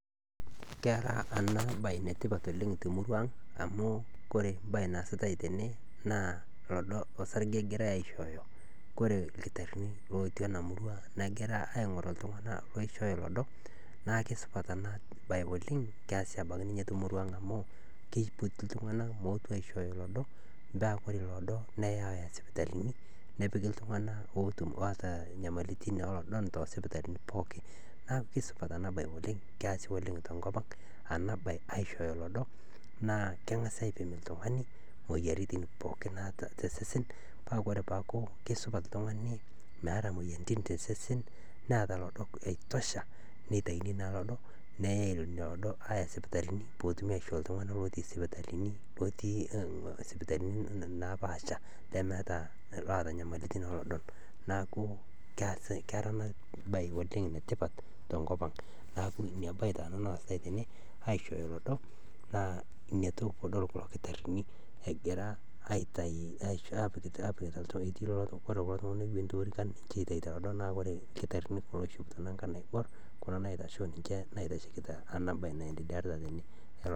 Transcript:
Kore eng'eno niyeu neishaakino nieta, piyas ena baye aaku taa piikut emaalo amu emaalo ena nadolita peekut oltungani naa inchere, keishaa nieta nimpractise nkolong'i kumok amu melelek nkutata ena toki, neishaa naa nilo netii ltunganak naaji looyolo ena siaai nikituutaki tenkuton naa kore esiaai kore embaye enkae naa keifaa niyiolou nieta ltunganak oota kuna masaa ashu ltungani oyiolo mpikata masaa oolmaasai oltungana ooyiolo aitibira, nikintobiraki peetumoki naa atalioi te sidai matejo naii tana igira aiparticipate, keishoru pisha sidai ajo oltungani ale oota seseni te ena siai naa eranyare.